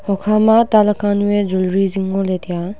hukhama taa laka nuu eh jewellery zing ngoley taiya.